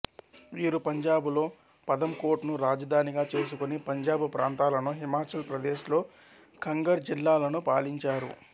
వీరు పంజాబులో పథంకోట్ ను రాజధానిగా చేసుకొని పంజాబు ప్రాంతాలను హిమాచల్ ప్రదేశ్ లో కంగర్ జిల్లాలను పాలించారు